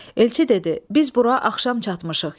Elçi dedi: Biz bura axşam çatmışıq.